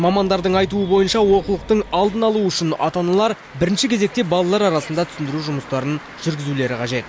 мамандардың айтуы бойынша олқылықтың алдын алу үшін ата аналар бірінші кезекте балалар арасында түсіндіру жұмыстарын жүргізулері қажет